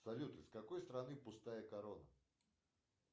салют из какой страны пустая корона